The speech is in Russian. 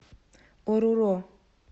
оруро